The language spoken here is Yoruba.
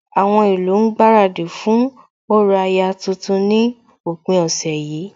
Àwọn ìlú ń gbaradì fún orò aya tuntun ní òpin ọ̀sẹ̀ yìí